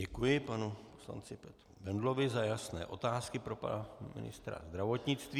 Děkuji panu poslanci Petru Bendlovi za jasné otázky pro pana ministra zdravotnictví.